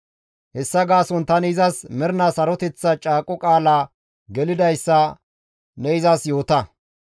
Hessa gaason tani izas mernaa saroteththa caaqo qaala gelidayssa ne izas yoota.